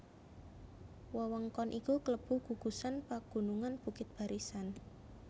Wewengkon iki klebu gugusan pagunungan Bukit Barisan